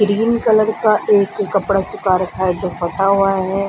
Green colour का एक कपड़ा सूखा रखा है जो फटा हुआ है।